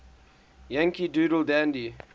yankee doodle dandy